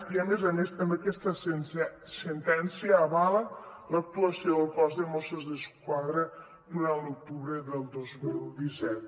i a més a més també aquesta sentència avala l’actuació del cos de mossos d’esquadra durant l’octubre del dos mil disset